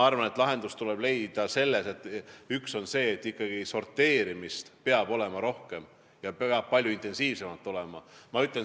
Üks asi on see, et sorteerimist peab olema ikkagi rohkem.